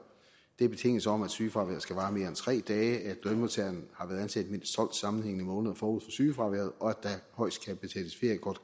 det er betingelsen om at sygefraværet skal vare mere end tre dage at lønmodtageren har været ansat i mindst tolv sammenhængende måneder forud sygefraværet og at der højst